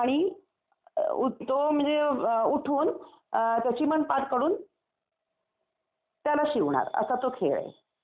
तो म्हणजे उठून त्याची पण पाठ काढून त्याला शिवणार असा तो खेळे आणि